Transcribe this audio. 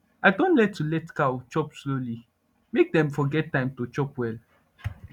i don learn to let cow chop slowly make dem for get time chop well